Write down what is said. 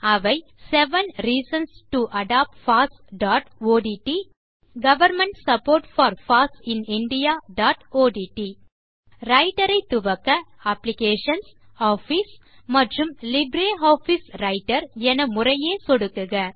அவை seven reasons to adopt fossஒட்ட் government support for foss in indiaஒட்ட் ரைட்டர் ஐ துவக்க applications office and LibreOffice writer என முறையே சொடுக்குக